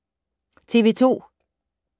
TV 2